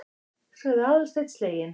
sagði Aðalsteinn sleginn.